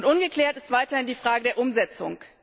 Ungeklärt ist weiterhin die Frage der Umsetzung.